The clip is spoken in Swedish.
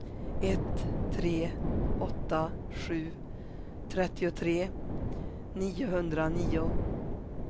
ett tre åtta sju trettiotre niohundranio